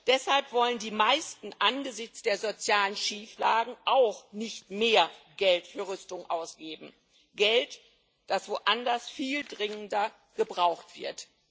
Deshalb wollen die meisten angesichts der sozialen Schieflagen auch nicht mehr Geld für Rüstung ausgeben Geld, das woanders viel dringender gebraucht wird.